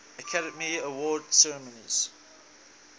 academy awards ceremony